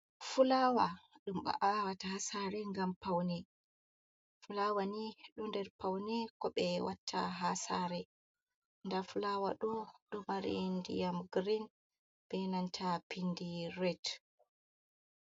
Fulawa dum ba’awata ha sare gam paune, fulawa ni ɗo nder paune ko bé watta hasare. Ɗa fulawa ɗo dômari ndiyam girin ɓenanta pindi réɗ.